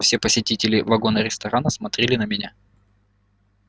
все посетители вагона-ресторана смотрели на меня